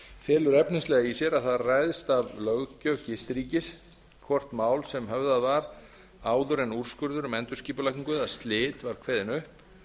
felur efnislega í sér að það ræðst af löggjöf gistiríkis hvort mál sem höfðað var áður en úrskurður um endurskipulagningu eða slit var kveðinn upp